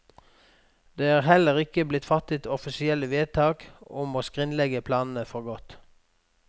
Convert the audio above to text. Det er heller ikke blitt fattet offisielle vedtak om å skrinlegge planene for godt.